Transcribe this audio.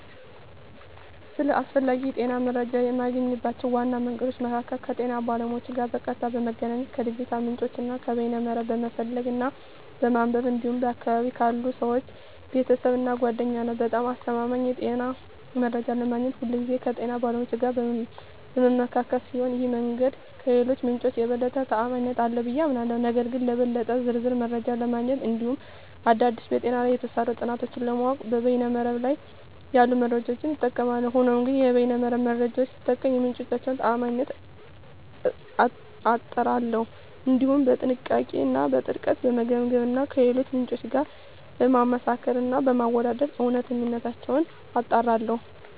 ስለ አስፈላጊ የጤና መረጃን የማገኝባቸው ዋና መንገዶች መካከል ከጤና ባለሙያዎች ጋር በቀጥታ በመገናኘት፣ ከዲጂታል ምንጮች እና ከበይነ መረብ በመፈለግ እና በማንበብ እንዲሁም በአካባቢየ ካሉ ሰወች፣ ቤተሰብ እና ጓደኛ ነዉ። በጣም አስተማማኝ የጤና መረጃ ለማግኘት ሁልጊዜ ከጤና ባለሙያዎች ጋር በምመካከር ሲሆን ይህ መንገድ ከሌሎቹ ምንጮች የበለጠ ተአማኒነት አለው ብየ አምናለሁ። ነገር ግን ለበለጠ ዝርዝር መረጃ ለማግኘት እንዲሁም አዳዲስ በጤና ላይ የተሰሩ ጥናቶችን ለማወቅ በይነ መረብ ላይ ያሉ መረጃዎችን እጠቀማለሁ። ሆኖም ግን የበይነ መረብ መረጃወቹን ስጠቀም የምንጮቹን ታአማኒነት አጣራለሁ፣ እንዲሁም በጥንቃቄ እና በጥልቀት በመገምገም እና ከሌሎች ምንጮች ጋር በማመሳከር እና በማወዳደር እውነተኝነታቸውን አጣራለሁ።